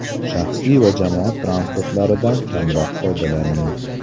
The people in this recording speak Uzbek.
Shaxsiy va jamoat transportlaridan kamroq foydalaning.